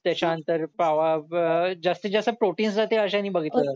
सशांत तर पावा जास्तीत जास्त प्रोटीन असतात ते अशाने बघितले जातात